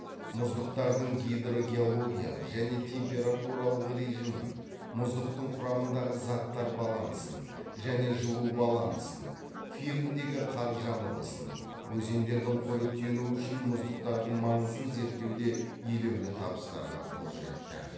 мұздықтардың гидрогеологиялық және температуралық режимін мұздықтың құрамындағы заттар балансын және жылу балансын фирндегі қар жамылғысын өзендердің қоректенуі үшін мұздықтардың маңызын зерттеуде елеулі табыстарга қол жетті